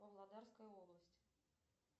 павлодарская область